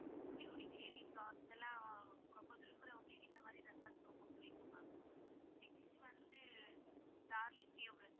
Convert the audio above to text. லாம் ரொம்ப விரும்புறவங்களுக்கு இந்த மாதிரி, resorts ரொம்ப புடிக்கும் ma'am next வந்து டார்லிங்